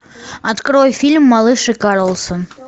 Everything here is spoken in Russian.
открой фильм малыш и карлосон